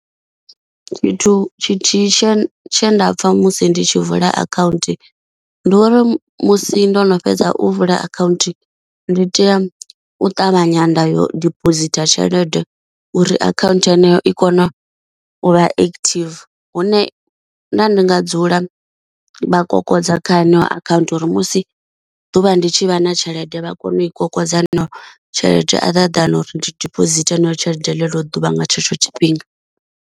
Fhethu tshithihi tshe tshe nda pfha musi ndi tshi vula akhaunthu, ndi uri musi ndo no fhedza u vula akhaunthu ndi tea u ṱavhanya nda yo dipositha tshelede uri akhanthu heneyo i kona uvha active, hune nda ndi nga dzula vha kokodza kha yeneyo akhaunthu uri musi ḓuvha ndi tshi vha na tshelede vha kone u i kokodza heneyo tshelede a ḓa than uri ndi deposit heneyo tshelede ḽeḽo ḓuvha nga tshetsho tshifhinga.